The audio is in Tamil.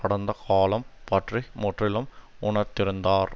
கடந்த காலம் பற்றி முற்றிலும் உணர்த்திருந்தார்